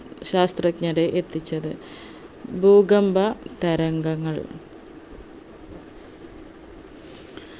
ശാസ്ത്രജ്ഞരെ എത്തിച്ചത് ഭൂകമ്പ തരംഗങ്ങൾ